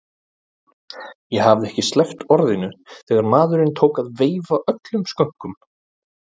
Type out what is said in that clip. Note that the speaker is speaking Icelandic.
Ég hafði ekki sleppt orðinu þegar maðurinn tók að veifa öllum skönkum.